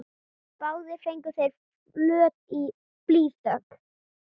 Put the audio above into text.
Báðir fengu þeir flöt blýþök.